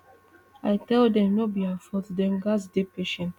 i tell dem no be her fault dem gatz dey patient